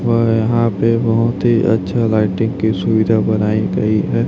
वह यहां पे बहोत ही अच्छा लाइटिंग की सुविधा बनाईं गई है।